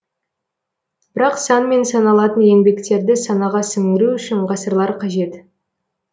бірақ санмен саналатын еңбектерді санаға сіңіру үшін ғасырлар қажет